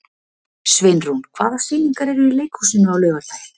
Sveinrún, hvaða sýningar eru í leikhúsinu á laugardaginn?